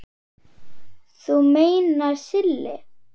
Þú meinar Silli?